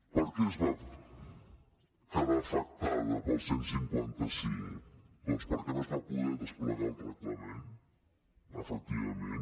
per què es va quedar afectada pel cent i cinquanta cinc doncs perquè no es va poder desplegar el reglament efectivament